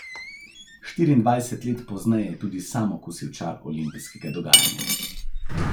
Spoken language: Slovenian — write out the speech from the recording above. Štiriindvajset let pozneje je tudi sam okusil čar olimpijskega dogajanja.